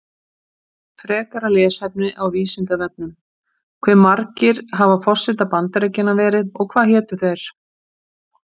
Frekara lesefni á Vísindavefnum: Hve margir hafa forsetar Bandaríkjanna verið og hvað hétu þeir?